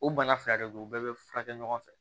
O bana fila de don u bɛɛ bɛ furakɛ ɲɔgɔn fɛ